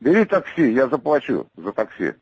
бери такси я заплачу за такси